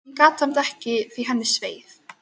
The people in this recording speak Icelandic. Hún gat samt ekki að því gert að henni sveið.